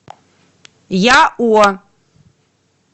яо